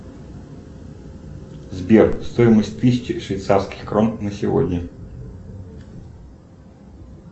сбер стоимость тысячи швейцарских крон на сегодня